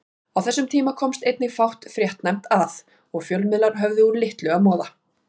Á þessum tíma komst einnig fátt fréttnæmt að og fjölmiðlar höfðu úr litlu að moða.